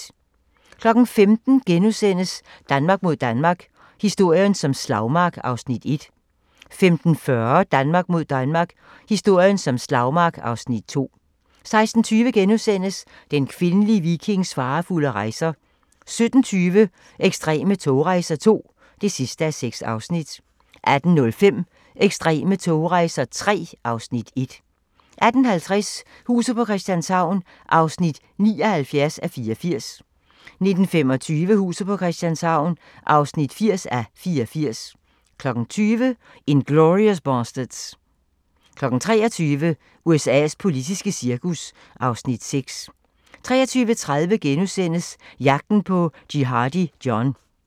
15:00: Danmark mod Danmark – historien som slagmark (Afs. 1)* 15:40: Danmark mod Danmark – historien som slagmark (Afs. 2) 16:20: Den kvindelige vikings farefulde rejser * 17:20: Ekstreme togrejser II (6:6) 18:05: Ekstreme togrejser III (Afs. 1) 18:50: Huset på Christianshavn (79:84) 19:25: Huset på Christianshavn (80:84) 20:00: Inglourious Basterds 23:00: USA's politiske cirkus (Afs. 6) 23:30: Jagten på Jihadi John *